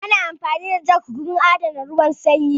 Ana amfani da jug wurin adana ruwan sanyi